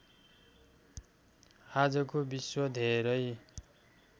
आजको विश्व धेरै